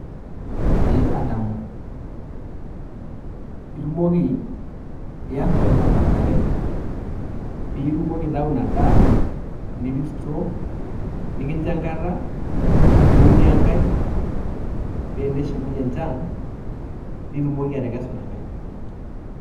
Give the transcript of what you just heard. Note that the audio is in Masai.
Ee adamu itumoki iya olchamba njere piitumoki aitau ina daa, nipik store nekinjo enkata niunie enkae pee eneshukunye enchan nitumoki atekesu ina nkae.